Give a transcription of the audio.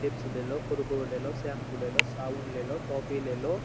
Chips ले लो कुरकुर ले लो शैंपू ले लो साबुन ले लो टॉफी ले लो।